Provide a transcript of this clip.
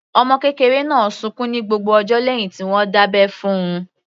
Ọmọ kékeré náà sunkún ní gbogbo ọjọ́ lẹ́hìn tí wọ́n dábẹ́ fún - un.